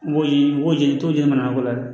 Mɔgɔ ɲini mɔgɔ jeni cogo jama ko la